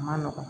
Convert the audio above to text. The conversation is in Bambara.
A ma nɔgɔn